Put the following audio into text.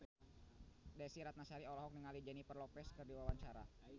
Desy Ratnasari olohok ningali Jennifer Lopez keur diwawancara